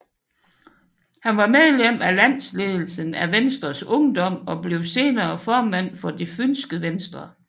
Han var medlem af landsledelsen af Venstres Ungdom og blev senere formand for Det fynske Venstre